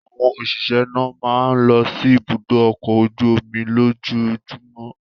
Àwọn òṣìṣẹ́ náà máa ń lọ sí Ibùdó-ọkọ̀ ojú-omi lójoojúmọ́.